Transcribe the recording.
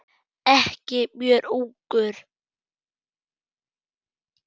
Ekki mjög ungur.